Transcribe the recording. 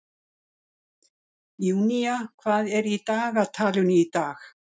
Júnía, hvað er í dagatalinu í dag?